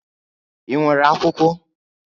Ị nwere akwụkwọ?